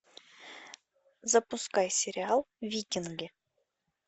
запускай сериал викинги